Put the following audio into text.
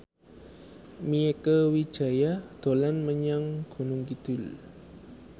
Mieke Wijaya dolan menyang Gunung Kidul